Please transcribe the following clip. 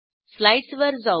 स्लाईडसवर जाऊ